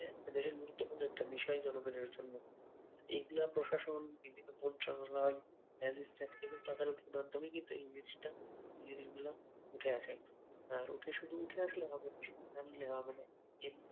একটা দেশের গুরুত্বপূর্ণ একটা বিষয় জনগণের জন্য এইগুলা প্রশাসন বিভিন্ন ম্যাজিস্ট্রেট তদারকির মাধ্যমেই কিন্তু এই জিনিসটা জিনিসগুলা উঠে আসে আর উঠে শুধু উঠে আসলেই হবে না জানলেই হবে না এমনিতে